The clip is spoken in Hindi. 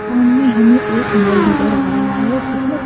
सामने हमें एक मॉल नजर आ रहा है जिसमें--